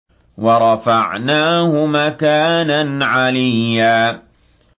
وَرَفَعْنَاهُ مَكَانًا عَلِيًّا